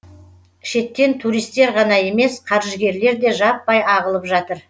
шеттен туристер ғана емес қаржыгерлер де жаппай ағылып жатыр